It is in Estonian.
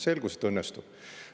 Selgus, et õnnestus.